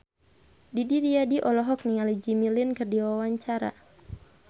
Didi Riyadi olohok ningali Jimmy Lin keur diwawancara